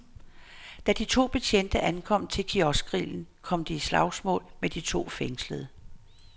Da de to betjente ankom til kioskgrillen, kom de i slagsmål med de to fængslede.